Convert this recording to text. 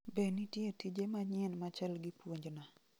Be nitie tije manyien machal gi puonjna